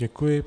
Děkuji.